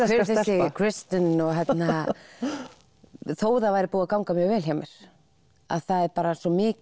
þessi Kristin þó það væri búið að ganga vel hjá mér það er bara svo mikil